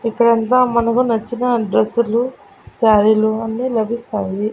ఇక్కడ అంతా మనకు నచ్చిన డ్రెస్సులు శారీలు అన్నీ లభిస్తాయి.